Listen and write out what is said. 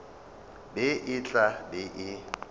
be e tla be e